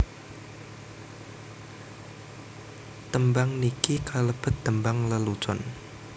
Tembang niki kalebet tembang lelucon